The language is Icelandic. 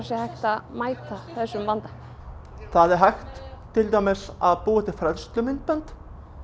er hægt að mæta þessum vanda það er hægt til dæmis að búa til fræðslumyndbönd